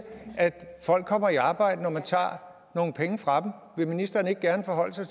at folk kommer i arbejde når man tager nogle penge fra dem vil ministeren ikke gerne forholde sig